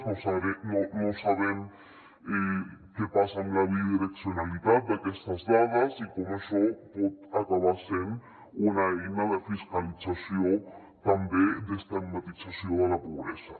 no sabem què passa amb la bidireccionalitat d’aquestes dades i com això pot acabar sent una eina de fiscalització també d’estigmatització de la pobresa